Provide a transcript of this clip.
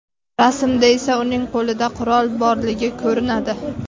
Rasmda esa uning qo‘lida qurol borligi ko‘rinadi.